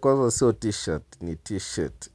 Kwaivo sio t-shirt ni t-shirt,